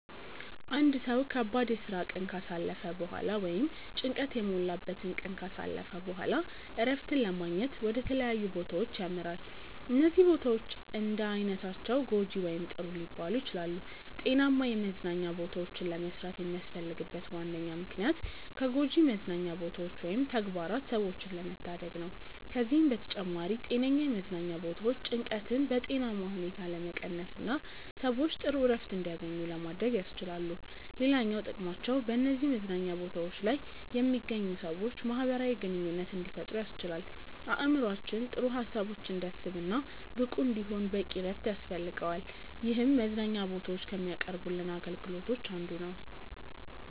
አንድ ሰው ከባድ የስራ ቀን ካሳለፈ በኋላ ወይም ጭንቀት የሞላበትን ቀን ካሳለፈ በኋላ እረፍትን ለማግኘት ወደ ተለያዩ ቦታዎች ያመራል። እነዚህ ቦታዎች እንዳይነታቸው ጐጂ ወይም ጥሩ ሊባሉ ይችላሉ። ጤናማ የመዝናኛ ቦታዎችን ለመስራት የሚያስፈልግበት ዋነኛ ምክንያት ከጎጂ መዝናኛ ቦታዎች ወይም ተግባራት ሰዎችን ለመታደግ ነው። ከዚህም በተጨማሪ ጤነኛ የመዝናኛ ቦታዎች ጭንቀትን በጤናማ ሁኔታ ለመቀነስና ሰዎች ጥሩ እረፍት እንዲያገኙ ለማድረግ ያስችላሉ። ሌላኛው ጥቅማቸው በነዚህ መዝናኛ ቦታዎች ላይ የሚገኙ ሰዎች ማህበራዊ ግንኙነት እንዲፈጥሩ ያስችላል። አእምሮአችን ጥሩ ሀሳቦችን እንዲያስብ እና ብቁ እንዲሆን በቂ እረፍት ያስፈልገዋል ይህም መዝናኛ ቦታዎች ከሚያቀርቡልን አገልግሎቶች አንዱ ነው።